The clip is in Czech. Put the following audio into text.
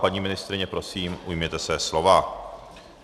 Paní ministryně, prosím, ujměte se slova.